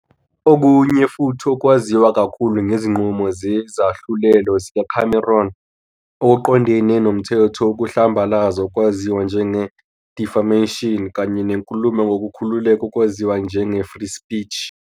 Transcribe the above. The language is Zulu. Okunye futhi okwaziwa kakhulu ngezinqumo zezahlulelo zikaCameron okuqondene nomthetho wokuhlambalaza okwaziwa njenge-defamation kanye nenkulumo ngokukhululeka okwaziwa njenge-free speech.